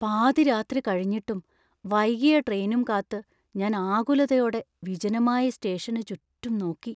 പാതിരാത്രി കഴിഞ്ഞിട്ടും വൈകിയ ട്രെയിനും കാത്ത് ഞാൻ ആകുലതയോടെ വിജനമായ സ്റ്റേഷന് ചുറ്റും നോക്കി.